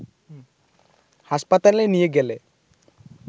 হাসপাতালে নিয়ে গেলে